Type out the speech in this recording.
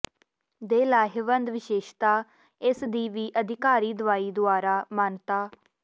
ਦੇ ਲਾਹੇਵੰਦ ਵਿਸ਼ੇਸ਼ਤਾ ਇਸ ਦੀ ਵੀ ਅਧਿਕਾਰੀ ਦਵਾਈ ਦੁਆਰਾ ਮਾਨਤਾ